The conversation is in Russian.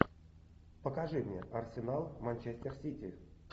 покажи мне арсенал манчестер сити